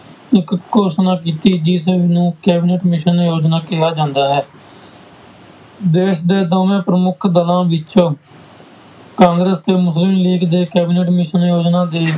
ਇੱਕ ਘੋਸ਼ਣਾ ਕੀਤੀ ਜਿਸਨੂੰ cabinet mission ਯੋਜਨਾ ਕਿਹਾ ਜਾਂਦਾ ਹੈ ਦੇਸ ਦੇ ਦੋਵੇਂ ਪ੍ਰਮੁੱਖ ਦਲਾਂ ਵਿੱਚ ਕਾਂਗਰਸ਼ ਤੇ ਮੁਸਲਿਮ ਲੀਗ ਦੇ cabinet mission ਯੋਜਨਾ ਦੇ